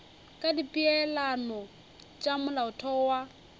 ka dipeelano tša molaotheo wa